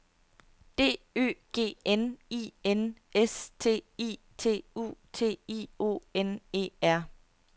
D Ø G N I N S T I T U T I O N E R